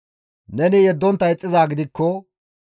Neni yeddontta ixxizaa gidikko,